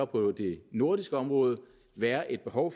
på det nordiske område være et behov